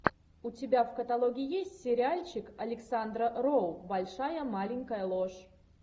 у тебя в каталоге есть сериальчик александра роу большая маленькая ложь